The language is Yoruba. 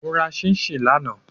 Mo ra chinchin lana